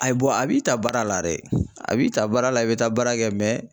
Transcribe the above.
Ayi a b'i ta baara la dɛ a b'i ta baara la i bɛ taa baara kɛ